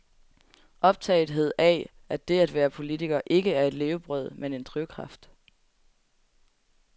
Optagethed af, at det at være politiker ikke er et levebrød, men en drivkraft.